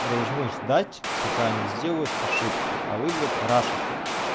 должны ждать пока они сделают ошибку а вы блять рашите